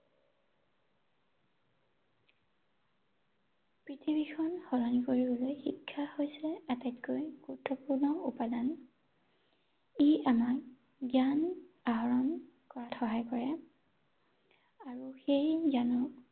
পৃথিৱীখন সলনি কৰিবলৈ শিক্ষা হৈছে আটাইতকৈ গুৰুত্বপূৰ্ণ উপাদান। ৷ ই আমাক জ্ঞান আহৰণ কৰাত সহায় কৰে আৰু সেই জ্ঞানক